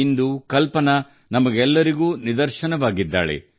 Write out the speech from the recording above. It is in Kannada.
ಇಂದು ಅವಳು ನಮಗೆಲ್ಲರಿಗೂ ನಿದರ್ಶನವಾಗಿದ್ದಾಳೆ